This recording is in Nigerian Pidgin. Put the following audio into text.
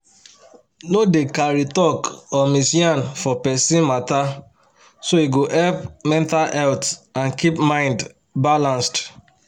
no dey carry talk or mis yan for person matter so e go help mental health and keep mind balanced.